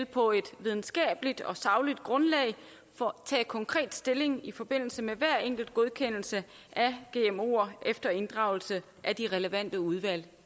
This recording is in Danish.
på et videnskabeligt og sagligt grundlag vil tage konkret stilling i forbindelse med hver enkelt godkendelse af gmoer efter inddragelse af de relevante udvalg